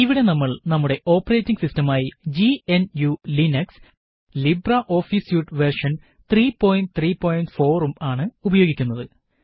ഇവിടെ നമ്മള് നമ്മുടെ ഓപ്പറേറ്റിംഗ് സിസ്റ്റമായി GNUലിബ്രെ ഓഫീസ് സ്യൂട്ട് വേര്ഷന് 334 ഉം ആണ് ഉപയോഗിക്കുന്നത്